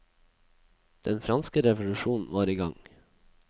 Den franske revolusjon var i gang.